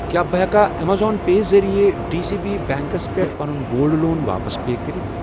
کیٛاہ بہٕ ہٮ۪کا اَمیزن پے ذٔریعہٕ ڈی سی بی بیٚنٛکس پٮ۪ٹھ پَنُن گولڈ لون واپس پے کٔرِتھ؟